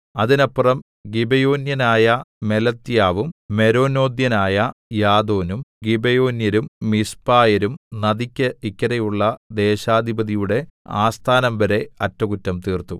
അതിനപ്പുറം ഗിബെയോന്യനായ മെലത്യാവും മെരോനോഥ്യനായ യാദോനും ഗിബെയോന്യരും മിസ്പായരും നദിക്ക് ഇക്കരെയുള്ള ദേശാധിപതിയുടെ ആസ്ഥാനംവരെ അറ്റകുറ്റം തീർത്തു